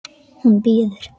Hún bíður!